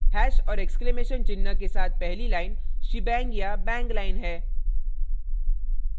hash और exclamation चिन्ह के साथ पहली line shebang या bang line है